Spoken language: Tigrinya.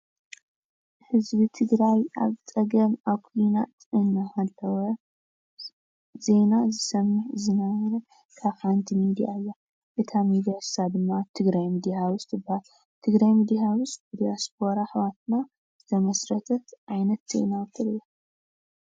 ህዝቢ ትግራይ ኣብ ፀገም ኣብ ኩናት እናሃለወ ዜና ዝሰምዕ ዝነበረ ካብ ሓንቲ ሚድያ እያ እታ ሚድያ ንሳ ድማ ትግራይ ሚድያ ሃውስ ትባሃል፡፡ ትግራይ ሚድያ ሃውስ ብዲስፖራ ኣሕዋትና ዝተመስረተት ዓይነት ቲቪ እያ፡፡